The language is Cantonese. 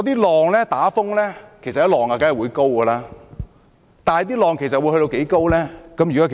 在颱風期間，海浪自然較高，但究竟會有多高呢？